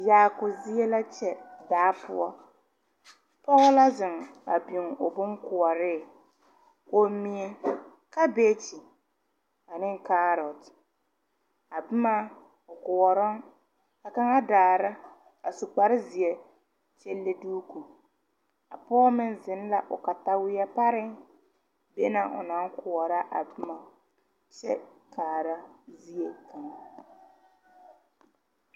Yaako zie la kyɛ daa poɔ pɔgɔ la zeŋ a biŋ o bonkoɔree kommie, kabage aneŋ kaarot a bomma o koɔrɔŋ ka kaŋa daara a su kparezeɛ kyɛ le duuku a pɔɔ meŋ zeŋ la o katawieɛ pareŋ be na o naŋ koɔrɔ a bomma kyɛ kaara zie kaŋ.